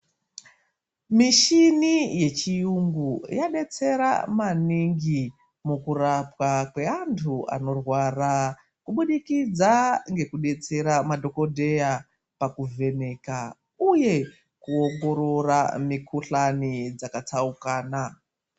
Mishini yechiyungu yabetsera maningi mukurapwa kweantu anorwara. Kubudikidza ngekubetsera madhogodheya pakuvheneka, uye kuongorora mikuhlani dzakatsaukana.